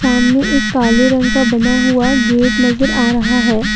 सामने एक काले रंग का बना हुआ गेट नजर आ रहा है।